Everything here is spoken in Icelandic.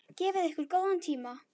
Gefið ykkur góðan tíma.